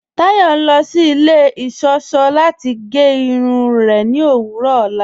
Táyọ̀ ń lọ sí ilẹ̀ iṣọ́ṣọ̀ láti gẹ́ irun rẹ̀ ní òwurọ̀ ọlá.